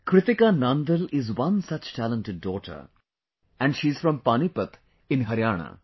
Kritika Nandal is one such talented daughter and she is from Panipat in Haryana